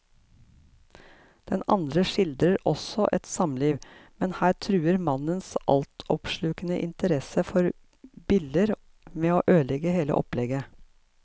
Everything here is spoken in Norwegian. Den andre skildrer også et samliv, men her truer mannens altoppslukende interesse for biller med å ødelegge hele opplegget.